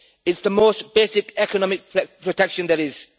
It is the most basic economic protection there is.